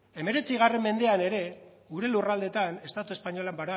hemeretzi mendean ere gure lurraldeetan estatu espainolak